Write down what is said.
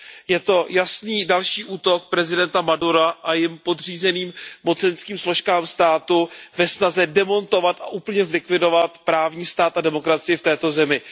Je to jasný další útok prezidenta Madura a jemu podřízených mocenských složek státu ve snaze demontovat a úplně zlikvidovat právní stát a demokracii v této zemi.